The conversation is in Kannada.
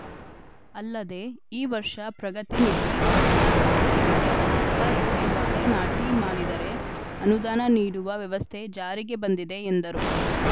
ಅಲ್ಲದೆ ಈ ವರ್ಷ ಪ್ರಗತಿ ನಿಧಿ ಪಡೆದ ಸದಸ್ಯರಿಗೆ ಅರ್ಧ ಎಕ್ರೆ ಬಾಳೆ ನಾಟೀ ಮಾಡಿದರೆ ಅನುದಾನ ನೀಡುವ ವ್ಯವಸ್ಥೆ ಜಾರಿಗೆ ಬಂದಿದೆ ಎಂದರು